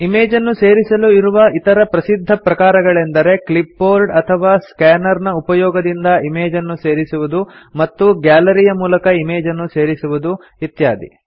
ಇಮೇಜನ್ನು ಸೇರಿಸಲು ಇರುವ ಇತರೆ ಪ್ರಸಿದ್ಧ ಪ್ರಕಾರಗಳೆಂದರೆ ಕ್ಲಿಪ್ಬೋರ್ಡ್ ಅಥವಾ ಸ್ಕ್ಯಾನರ್ ನ ಉಪಯೋಗದಿಂದ ಇಮೇಜನ್ನು ಸೇರಿಸುವುದು ಮತ್ತು ಗ್ಯಾಲರಿ ಯ ಮೂಲಕ ಇಮೇಜನ್ನು ಸೇರಿಸುವುದು ಇತ್ಯಾದಿ